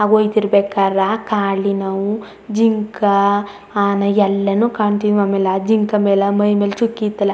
ಅವು ಹೋಯ್ ತಿರ್ ಬೇಕಾರ್ ಕಾಲಿನವು ಜಿಂಕ್ ಆನೆ ಎಲ್ಲಾನು ಕಾಣತ್ತಿವಿ ಆಮೇಲೆ ಆ ಜಿಂಕ್ ಮೇಲೆ ಮೈ ಮೇಲೆ ಚುಕ್ಕಿ ಇತ್ತಲ್ಲಾ.